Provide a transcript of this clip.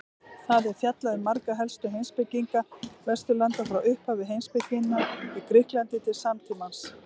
Þar er fjallað um marga helstu heimspekinga Vesturlanda frá upphafi heimspekinnar í Grikklandi til samtímans.